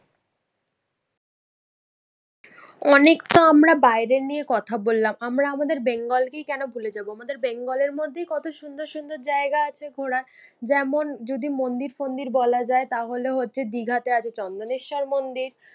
অনেকতো আমরা বাইরের নিয়ে কথা বললাম আমরা আমাদের বেঙ্গলকেই কেন ভুলে যাবো। আমাদের বেঙ্গলের মধ্যেই কত সুন্দর সুন্দর জায়গা আছে ঘোরার। যেমন যদি মন্দির ফন্দির বলা যাই তাহলে হচ্ছে দিঘাতে আছে চন্দনেশ্বর মন্দির।